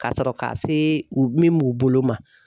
Ka sɔrɔ ka se u min m'u bolo ma